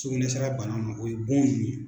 Sukunɛsira bana ma o ye bon ninnu ye.